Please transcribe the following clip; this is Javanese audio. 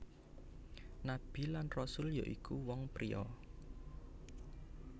Nabi lan Rasul ya iku wong pria